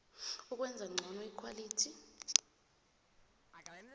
ukwenza ngcono ikhwalithi